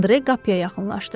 Andre qapıya yaxınlaşdı.